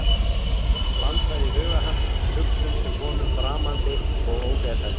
Plantað í huga hans hugsun sem er honum framandi og ógeðfelld.